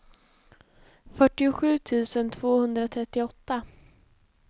fyrtiosju tusen tvåhundratrettioåtta